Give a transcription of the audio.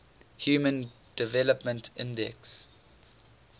human development index